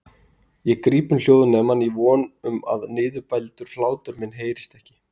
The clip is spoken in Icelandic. Ég gríp um hljóðnemann í von um að niðurbældur hlátur minn heyrist ekki.